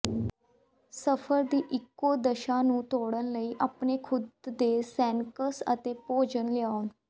ਸਫ਼ਰ ਦੀ ਇਕੋਦਸ਼ਾ ਨੂੰ ਤੋੜਨ ਲਈ ਆਪਣੇ ਖੁਦ ਦੇ ਸਨੈਕਸ ਅਤੇ ਭੋਜਨ ਲਿਆਓ